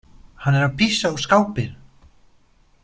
Hann er að pissa á skápinn!